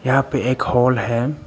यहां पे एक हाल है।